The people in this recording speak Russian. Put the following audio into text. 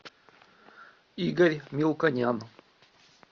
игорь мелконян